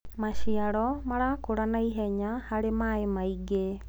maciaro marakura naihenya harĩ maĩ maĩngi